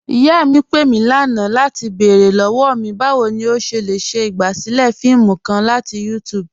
Iyà mí pé mí lánà latí bẹ̀ẹ̀rẹ̀ lọ́wọ́ mí, báwo ni o ṣé le ṣe igbásílẹ̀ fíìmù kàn latí YouTube.